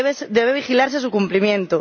Debe vigilarse su cumplimiento.